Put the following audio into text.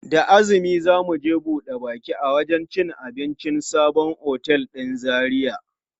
Da azumi za mu je buɗe baki a wajen cin abincin sabon otel ɗin Zaria.